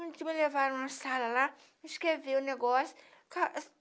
Eles me levaram na sala lá, me escreveram o negócio.